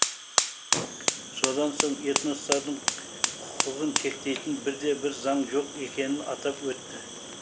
содан соң этностардың құқығын шектейтін бірде бір заң жоқ екенін атап өтті